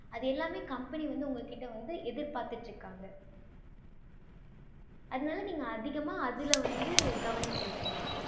அது எல்லாமே company வந்து உங்க கிட்ட வந்து எதிர் பார்த்துட்டு இருக்காங்க அதுனால நீங்க அதிகமா அதுல வந்து கவனம் செலுத்துங்க